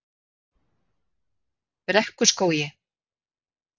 Brekkuskógi